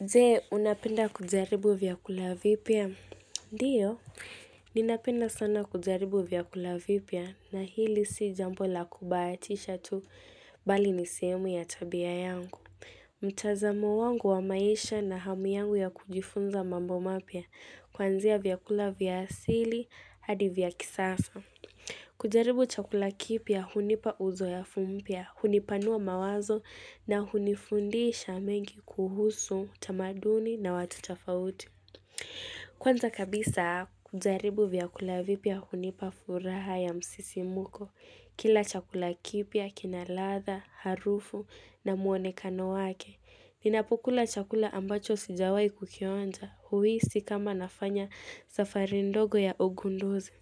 Je, unapenda kujaribu vyakula vipya? Ndio, ninapenda sana kujaribu vyakula vipya na hili si jambo la kubaatisha tu bali niseemu ya tabia yangu. Mtazamo wangu wa maisha na hamu yangu ya kujifunza mambo mapya, kwanzia vyakula vya asili, hadi vya kisasa. Kujaribu chakula kipya hunipa uzoyafu mpya, hunipanua mawazo na hunifundisha mengi kuhusu, tamaduni na watu tafauti Kwanza kabisa kujaribu vyakula vipya hunipa furaha ya msisimuko Kila chakula kipya, kina ladha, harufu na muonekano wake Ninapokula chakula ambacho sijawai kukionja, huisi kama nafanya safari ndogo ya ogunduzi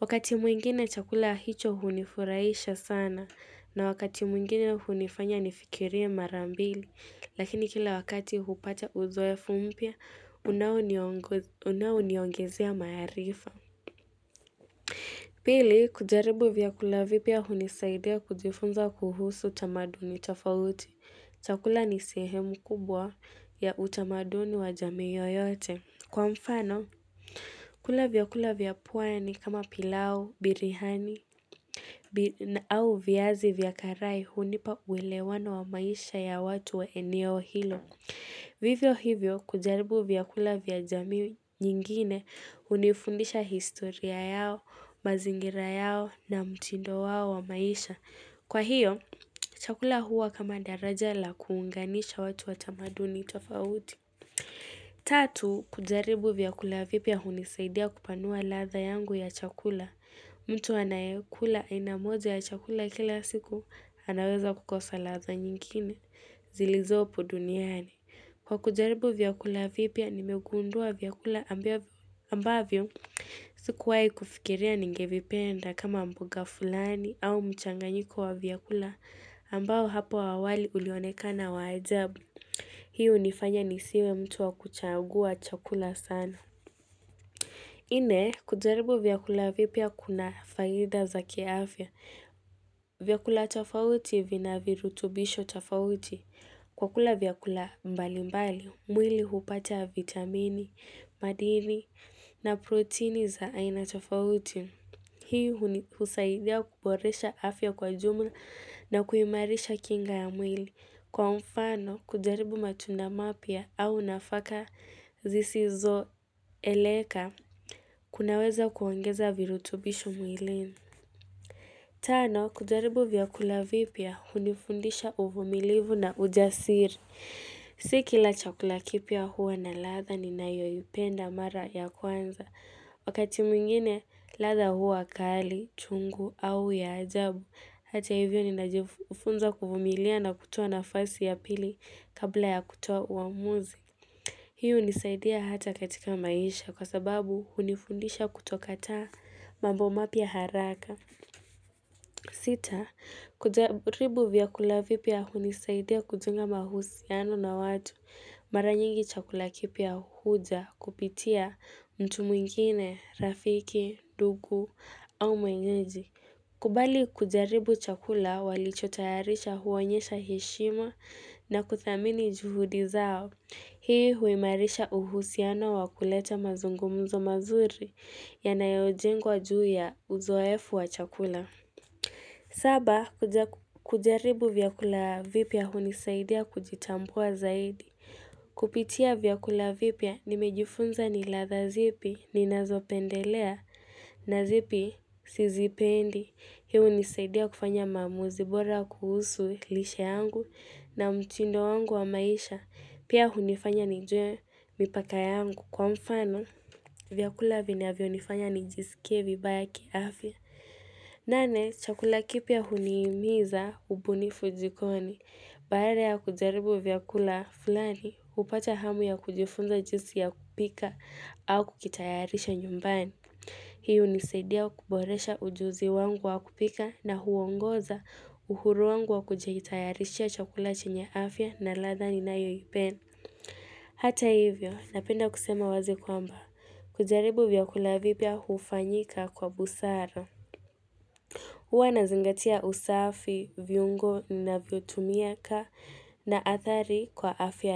Wakati mwingine chakula hicho hunifuraisha sana na wakati mwingine hunifanya nifikirie marambili, lakini kila wakati hupata uzoefumpya, unaoniongoz unauniongezea maarifa. Pili, kujaribu vyakula vipya hunisaidia kujifunza kuhusu tamaduni tafauti. Chakula nisehemu kubwa ya utamaduni wa jamiiyo yote. Kwa mfano, kula vya kula vya pwani kama pilau, birihani bir au viazi vya karai hunipa uelewano wa maisha ya watu wa eneo hilo. Vivyo hivyo, kujaribu vya kula vya jamii nyingine, hunifundisha historia yao, mazingira yao na mtindo wao wa maisha. Kwa hio, chakula huwa kama daraja la kuunganisha watu watamaduni tofauti. Tatu, kujaribu vyakula vipya hunisaidia kupanua ladha yangu ya chakula. Mtu anayekula ainamoja ya chakula kila siku anaweza kukosa ladha nyingine zilizopo duniani. Kwa kujaribu vyakula vipya nimegundua vyakula ambavyo. Sikuwai kufikiria ningevipenda kama mboga fulani au mchanganyiko wa vyakula ambao hapo awali ulionekana wa ajabu. Hii unifanya nisiwe mtu wa kuchagua chakula sana. Ine, kujaribu vyakula vipya kuna faida za kiafya. Vyakula tafauti vina virutubisho tafauti. Kwa kula vyakula mbali mbali, mwili hupata vitamini, madini na protini za aina tafauti. Hii huni husaidia kuboresha afya kwa jumla na kuimarisha kinga ya mwili. Kwa mfano, kujaribu matunda mapya au nafaka zisi zo eleka, kunaweza kuongeza virutubishu mwilin. Tano, kujaribu vyakula vipya, hunifundisha uvumilivu na ujasiri. Siki la chakula kipya huwa na ladha ni nayoipenda mara ya kwanza. Wakati mwingine, ladha huwa kali, chungu au ya ajabu. Hata hivyo ninajifunza kuvumilia na kutoa na fasi ya pili kabla ya kutoa uamuzi hiyo unisaidia hata katika maisha kwa sababu hunifundisha kutokataa mambo mapya haraka Sita, kujaribu vyakula vipya hunisaidia kujunga mahusi ano na watu Mara nyingi chakula kipya huja kupitia mtu mwingine, rafiki, ndugu au mwenyeji kubali kujaribu chakula walichotayarisha huonyesha heshima na kuthamini juhudi zao. Hii huimarisha uhusiano wakuleta mazungumzo mazuri ya nayojengwa juu ya uzoefu wa chakula. Saba, kuja kujaribu vyakula vipya unisaidia kujitambua zaidi. Kupitia vyakula vipya nimejifunza ni ladha zipi ni nazo pendelea na zipi si zipendi. Hii unisaidia kufanya maamuzi bora kuhusu lishe yangu na mtindo wangu wa maisha. Pia hunifanya nijue mipaka yangu kwa mfano vyakula vinavyonifanya nijisikie vibaya kiafya. Nane chakula kipya huniimiza ubuni fujikoni Baala ya kujaribu vyakula fulani upata hamu ya kujifunza jisi ya kupika au kukitayarisha nyumbani Hii unisaidia kuboresha ujuzi wangu wa kupika na huongoza uhuru wangu wa kujitayarishia chakula chenye afya na ladha ni nayo ipen Hata hivyo napenda kusema wazi kwamba kujaribu vyakula vipya hufanyika kwa busara huwa na zingatia usafi, viungo na vyotumia ka na athari kwa afya ya.